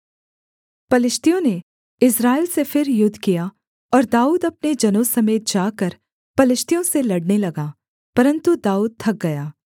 पलिश्तियों ने इस्राएल से फिर युद्ध किया और दाऊद अपने जनों समेत जाकर पलिश्तियों से लड़ने लगा परन्तु दाऊद थक गया